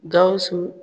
Gawusu